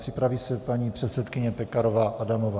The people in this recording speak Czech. Připraví se paní předsedkyně Pekarová Adamová.